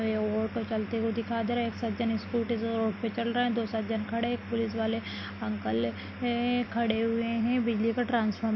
यहां रोड पर चलते हुए दिखाई दे रहे हैं स्कूटी से रोड पर चल रहे हैं दो सजन खड़े हैं एक पुलिस वाले अंकल हैं खड़े हुए हैं बिजली का--